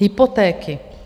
Hypotéky...